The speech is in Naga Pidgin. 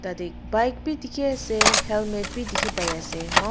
yate bike bi dikhiase helmet bi dikhipaiase.